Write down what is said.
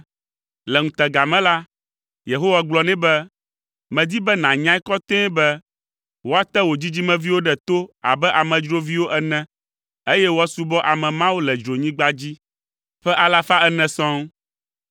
Le ŋutega me la, Yehowa gblɔ nɛ be, “Medi be nànyae kɔtɛe be, woate wò dzidzimeviwo ɖe to abe amedzroviwo ene eye woasubɔ ame mawo le dzronyigba dzi ƒe alafa ene sɔŋ.